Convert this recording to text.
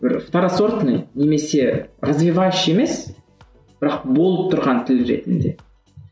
бір второсортный немесе развивающий емес бірақ болып тұрған тіл ретінде